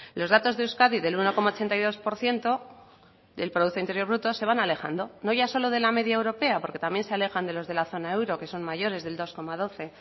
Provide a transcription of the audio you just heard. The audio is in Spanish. los datos de euskadi del uno coma ochenta y dos por ciento del producto interior bruto se van alejando no ya solo de la media europea porque también se alojan de los de la zona euro que son mayores del dos coma doce